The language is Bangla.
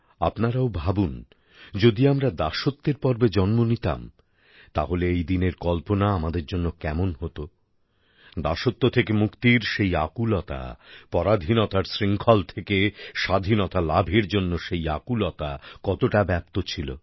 আপনারাও ভাবুন যদি আমরা দাসত্বের পর্বে জন্ম নিতাম তাহলে এই দিনের কল্পনা আমাদের জন্য কেমন হত দাসত্ব থেকে মুক্তির সেই আকুলতা পরাধীনতার শৃঙ্খল থেকে স্বাধীনতা লাভের জন্য সেই আকুলতা কতটা ব্যাপ্ত ছিল